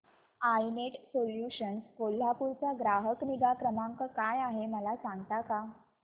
I net solutions Kolhapur चा ग्राहक निगा क्रमांक काय आहे मला सांगता का